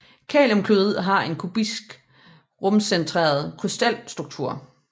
Kaliumklorid har en kubisk rumcentreret krystalstruktur